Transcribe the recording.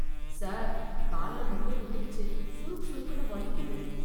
Sir, கால்ல முள்ளு குத்திடுச்சு... சுறுக் சுறுக்குன்னு வலிக்குது.